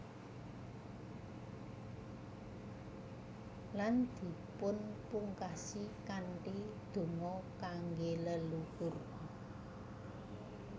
Lan dipunpungkasi kanthi donga kangge leluhur